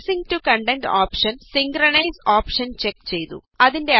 spacing to content option synchronise option check ചെയ്തു